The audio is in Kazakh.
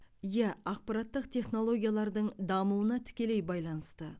иә ақпараттық технологиялардың дамуына тікелей байланысты